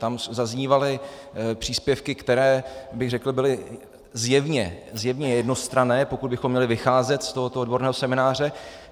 Tam zaznívaly příspěvky, které bych řekl, byly zjevně jednostranné, pokud bychom měli vycházet z tohoto odborného semináře.